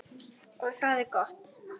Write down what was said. Og það er gott.